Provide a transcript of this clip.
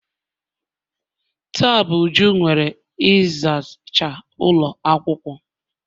Taa bu Uju nwe ịzacha ụlọ akwụkwọ.